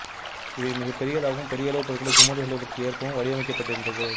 இவை மிகப்பெரியதாகவும் பெரிய அளவு பொருட்களை சுமந்து செல்வதற்கு ஏற்பவும் வடிவமைக்கப்பட்டிருந்தது